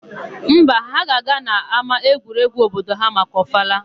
Mba, ha ga-aga n'ama egwuregwu obodo ha maka ọfala.